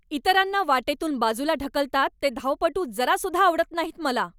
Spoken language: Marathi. इतरांना वाटेतून बाजूला ढकलतात ते धावपटू जरासुद्धा आवडत नाहीत मला.